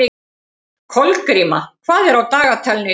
Kolgríma, hvað er á dagatalinu í dag?